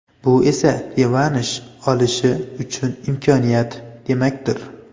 Bu esa revansh olishi uchun imkoniyat demakdir.